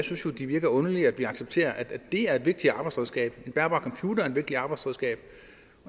synes jo det virker underligt at vi accepterer at det er et vigtigt arbejdsredskab at en bærbar computer er et vigtigt arbejdsredskab